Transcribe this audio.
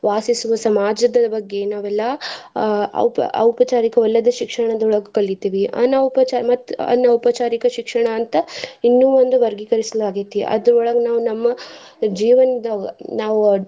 ವಾಸಿಸುವ ಸಮಾಜದ ಬಗ್ಗೆ ನಾವೆಲ್ಲಾ ಆಹ್ ಔಪ~ ಔಪಚಾರಿಕವಲ್ಲದ ಶಿಕ್ಷಣದೊಳಗ ಕಲಿತಿವಿ. ಅನೌಪಚಾ~ ಮತ್ತ್ ಅನೌಪಚಾರಿಕ ಶಿಕ್ಷಣ ಅಂತ ಇನ್ನು ಒಂದು ವರ್ಗೀಕರಿಸಲಾಗೆತಿ ಅದ್ರೋಳಗ ನಾವ್ ನಮ್ಮ ಜೀವನದಾಗ ನಾವ್.